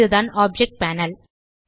இதுதான் object panel